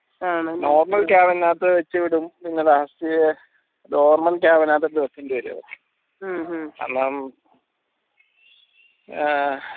normal ഇങ്ങ last normal നകത്ത് വെക്കേണ്ടി വരും കാരണം ഏർ